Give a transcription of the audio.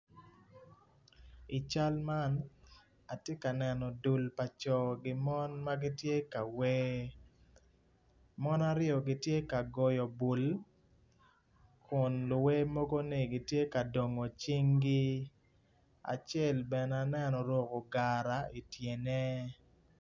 I cal man atye ka neno dul pa co ki mon ma gitye ka wer mon aryo gitye ka goyo bul Kun luwer mogoni gitye ka dongo cingi acel bene aneno oruko gara ityene.